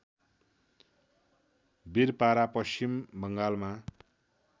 बिरपारा पश्चिम बङ्गालमा